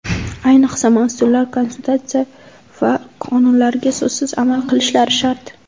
Ayniqsa mas’ullar Konstitutsiyaga va qonunlarga so‘zsiz amal qilishlari shart!